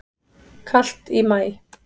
Kalt í maí